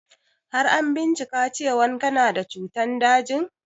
Har an bincika cewan kana da cutan dajin?